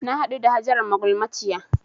Na haɗu da Hajara magulmaciyar